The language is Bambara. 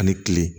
Ani kile